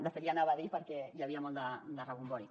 de fet l’hi anava a dir perquè hi havia molt de rebombori